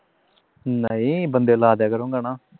ਨਹੀਂ ਬੰਦੇ ਲਗਾ ਦਿਆ ਕਰੂੰ ਗਾਨਾ